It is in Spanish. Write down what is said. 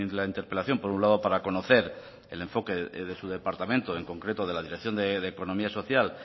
la interpelación por un lado para conocer el enfoque de su departamento en concreto de la dirección de economía social